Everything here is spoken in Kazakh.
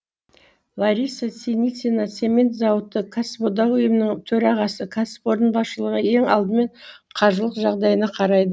лариса синицина цемент зауыты кәсіподақ ұйымының төрағасы кәсіпорын басшылығы ең алдымен қаржылық жағдайына қарай